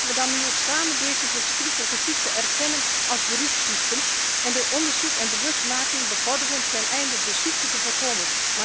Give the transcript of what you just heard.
Laten we dan nu ook samen deze verschrikkelijke ziekte erkennen als beroepsziekte en het onderzoek en de bewustmaking bevorderen teneinde de ziekte te voorkomen.